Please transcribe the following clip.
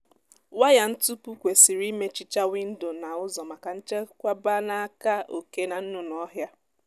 waya ntupu kwesịrị imechicha windo na ụzọ maka nchekwba n'aka oké na nnụnụ ọhịa